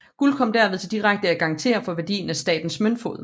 Guld kom derved til direkte at garantere for værdien af staternes møntfod